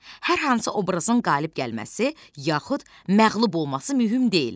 Hər hansı obrazın qalib gəlməsi, yaxud məğlub olması mümkün deyil.